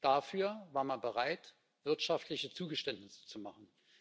Dafür war man bereit, wirtschaftliche Zugeständnisse zu machen.